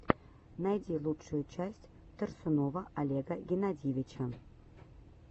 найди лучшую часть торсунова олега геннадьевича